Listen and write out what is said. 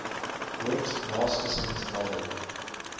whit masterson's novel